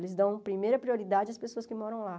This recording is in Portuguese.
Eles dão primeira prioridade às pessoas que moram lá.